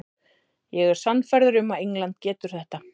Ég er sannfærður um að England getur þetta.